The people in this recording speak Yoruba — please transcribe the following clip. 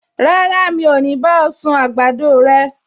Rárá, mi ò ní bá ọ sun àgbàdo rẹ